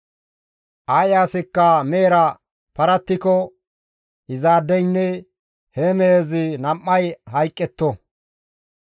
« ‹Ay asikka mehera paratikko izaadeynne he mehezi nam7ay hayqqetto.